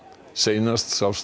seinast sást